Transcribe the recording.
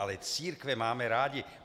Ale církve máme rádi.